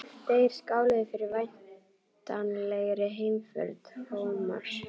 Þeir skáluðu fyrir væntanlegri heimför Thomas.